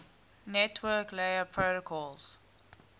network layer protocols